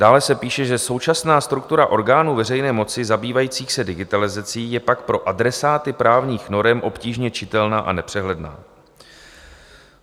Dále se píše, že "současná struktura orgánů veřejné moci zabývajících se digitalizací je pak pro adresáty právních norem obtížně čitelná a nepřehledná".